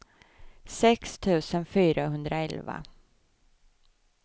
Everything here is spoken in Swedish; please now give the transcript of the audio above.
sex tusen fyrahundraelva